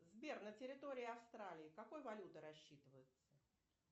сбер на территории австралии какой валютой рассчитываются